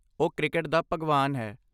ਉਹ 'ਕ੍ਰਿਕਟ ਦਾ ਭਗਵਾਨ' ਹੈ।